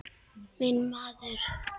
Minn maður!